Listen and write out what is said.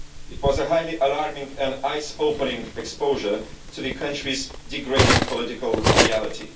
It was a highly alarming and eye-opening exposure to the country's deteriorating political reality.